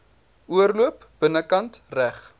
oorloop binnekant reg